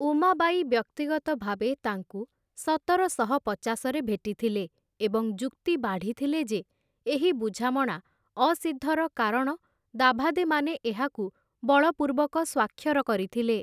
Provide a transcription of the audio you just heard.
ଉମାବାଈ ବ୍ୟକ୍ତିଗତ ଭାବେ ତାଙ୍କୁ ସତରଶହ ପଚାଶରେ ଭେଟିଥିଲେ ଏବଂ ଯୁକ୍ତି ବାଢ଼ିଥିଲେ ଯେ, ଏହି ବୁଝାମଣା ଅସିଦ୍ଧର କାରଣ ଦାଭାଦେମାନେ ଏହାକୁ ବଳପୂର୍ବକ ସ୍ଵାକ୍ଷର କରିଥିଲେ ।